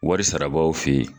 Wari sarabaw fe yen